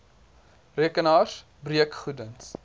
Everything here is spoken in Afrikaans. rekenaars breekgoed ens